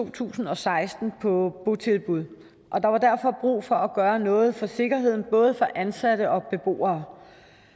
to tusind og seksten på botilbud og der var derfor brug for at gøre noget for sikkerheden både for ansatte og beboere